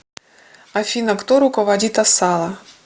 афина кто руководит асала